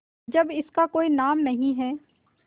जब इसका कोई नाम नहीं है